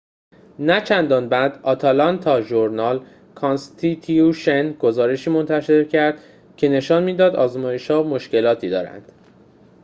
نه‌چندان بعد آتلانتا ژورنال-کانستیتیوشن گزارشی منتشر کرد که نشان می‌داد آزمایش‌ها مشکلاتی دارند